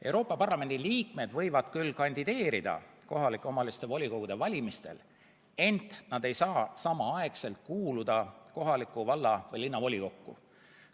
Euroopa Parlamendi liikmed võivad küll kandideerida kohalike omavalitsuste volikogude valimistel, ent nad ei saa samaaegselt kuuluda kohalikku valla- või linnavolikokku.